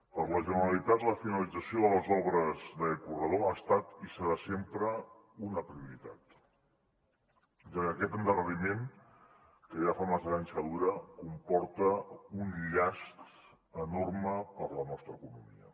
per la generalitat la finalització de les obres d’aquest corredor ha estat i serà sempre una prioritat ja que aquest endarreriment que ja fa massa anys que dura comporta un llast enorme per a la nostra economia